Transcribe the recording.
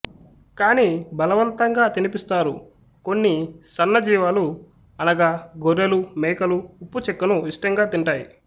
కాని బలవంతంగా తినిపిస్తారు కొన్ని సన్న జీవాలు అనగా గొర్రెలు మేకలు ఉప్పు చెక్కను ఇష్టంగా తింటాయి